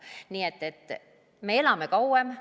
Nii et me elame kauem.